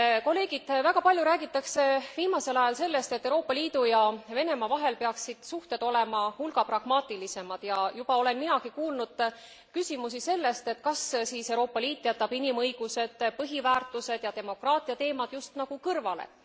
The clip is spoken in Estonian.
Kolleegid, väga palju räägitakse viimasel ajal sellest, et Euroopa Liidu ja Venemaa vahel peaksid suhted olema hulga pragmaatilisemad, ja juba olen minagi kuulnud küsimusi selle kohta, et kas siis Euroopa Liit jätab inimõigused, põhiväärtused ja demokraatia teemad just nagu kõrvale.